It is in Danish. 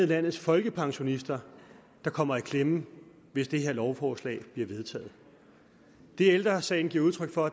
landets folkepensionister der kommer i klemme hvis det her lovforslag bliver vedtaget det ældre sagen giver udtryk for